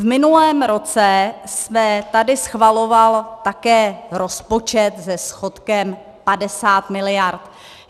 V minulém roce se tady schvaloval také rozpočet se schodkem 50 miliard.